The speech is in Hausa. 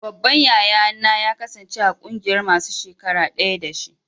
Babban yaya na ya kasance a ƙungiyan masun shakara daya da shi.